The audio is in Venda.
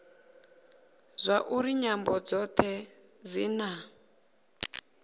zwauri nyambo dzothe dzi na